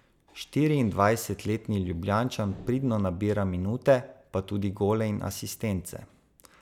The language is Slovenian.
Štiriindvajsetletni Ljubljančan pridno nabira minute, pa tudi gole in asistence.